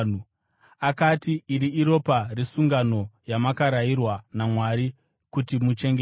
Akati, “Iri iropa resungano, yamakarayirwa naMwari kuti muchengete.”